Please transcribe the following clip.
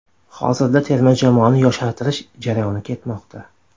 Hozirda terma jamoani yoshartirish jarayoni ketmoqda.